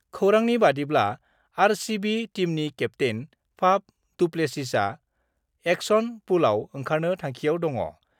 खौरांनि बादिब्ला, आरसिबि टीमनि केप्तेन फाफडुप्लेसिसआ एक्सन पुलआव ओंखारनो थांखिआव दङ।